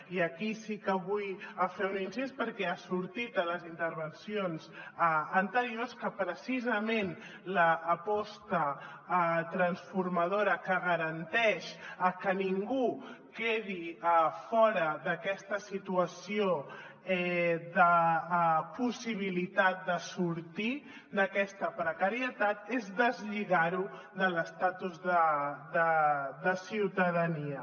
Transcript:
i aquí sí que vull fer un incís perquè ja ha sortit a les intervencions anteriors que precisament l’aposta transformadora que garanteix que ningú quedi fora d’aquesta situació de possibilitat de sortir d’aquesta precarietat és deslligar ho de l’estatus de ciutadania